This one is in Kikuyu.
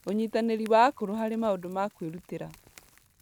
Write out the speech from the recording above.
Ũnyitanĩri wa akũrũ harĩ maũndũ ma kwĩrutĩra